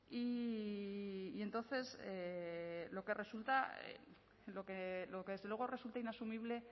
y entonces lo que resulta lo que desde luego resulta inasumible